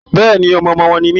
Bẹ́ẹ̀ni, ọmọ ọmọ wọn ni mí.